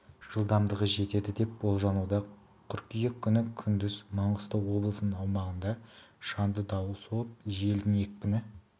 жылдамдығы жетеді деп болжануда қыркүйек күні күндіз маңғыстау облысының аумағында шаңды дауыл соғып желдің екпіні